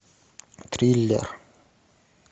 триллер